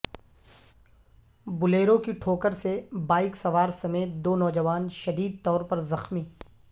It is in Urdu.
بلیرو کی ٹھوکر سے بائک سوار سمیت دو نوجوان شدید طور پر زخمی